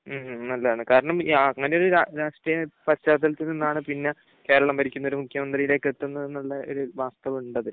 ഉം ഉം. നല്ലതാണ് കാരണം അങ്ങനെ ഒരു രാഷ്ട്രീയ പശ്ചാത്തലത്തിൽ നിന്നാണ് പിന്നെ കേരളം ഭരിക്കുന്ന ഒരു മുഖ്യമന്ത്രിയിലേക്ക് എത്തുന്നത് എന്നുള്ള ഒരു വാസ്തവം ഉണ്ട് അതിൽ.